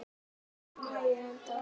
Tökum lagið, landar góðir.